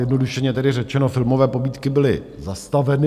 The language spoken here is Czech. Zjednodušeně tedy řečeno, filmové pobídky byly zastaveny.